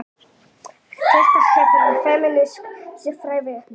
Þetta hefur femínísk siðfræði gert.